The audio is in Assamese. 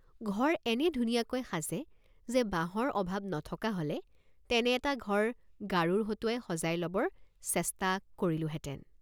ঘৰ এনে ধুনীয়াকৈ সাজে যে বাঁহৰ অভাৱ নথকা হলে তেনে এটা ঘৰ গাৰোৰ হতুৱাই সজাই লবৰ চেষ্ট৷ কৰিলোঁহেতেন।